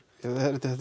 ja þetta er